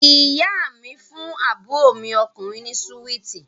Ìyá mi fún àbúrò mi ọkùnrin ni súwíítì